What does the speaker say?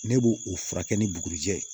Ne b'o o furakɛ ni bugurijɛ